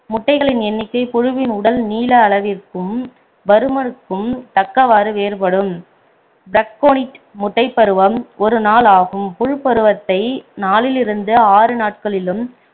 முட்டைகளின் எண்ணிக்கை புழுவின் உடல் நீள அளவிற்கும் பருமனுக்கும் தக்கவாறு வேறுபடும் பிரக்கோனிட் முட்டைப்பருவம் ஒரு நாள் ஆகும் புழுப்பருவத்தை நாலில் இருந்து ஆறு நாட்களிலும்